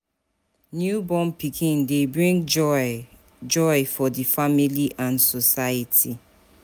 Newborn pikin de bring joy joy for di family and society